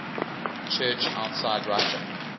church outside russia